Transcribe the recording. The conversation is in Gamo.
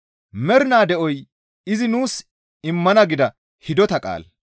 Mernaa de7oy izi nuus immana gida hidota qaala.